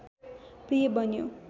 प्रिय बन्यो